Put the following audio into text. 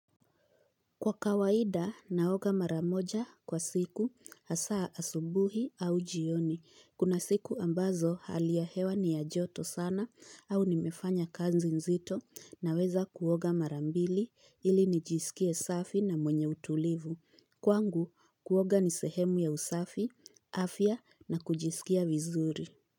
Kwa kawaida naoga maramoja kwa siku hasaa asubuhi au jioni. Kuna siku ambazo hali ya hewa ni ya joto sana au nimefanya kazi nzito naweza kuoga marambili ili nijisikie safi na mwenye utulivu. Kwangu kuoga nisehemu ya usafi, afya na kujisikia vizuri.